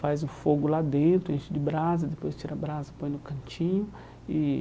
Faz o fogo lá dentro, enche de brasa, depois tira a brasa e põe no cantinho e.